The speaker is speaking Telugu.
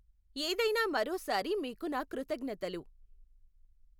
ఏదైనా మరో సారి మీకు నా కృతజ్ఞతలు.